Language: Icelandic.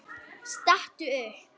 Stattu upp!